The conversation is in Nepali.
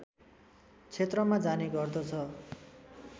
क्षेत्रमा जाने गर्दछ